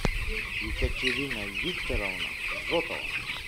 екатерина викторовна зотова